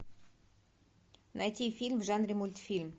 найти фильм в жанре мультфильм